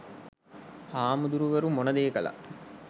හාමුදුරුවරු මොන දේ කළත්